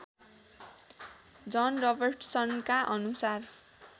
जन रबर्ट्सनका अनुसार